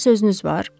Mənə sözünüz var?